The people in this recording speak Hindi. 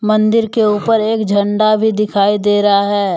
मंदिर के ऊपर एक झंडा भी दिखाई दे रहा है।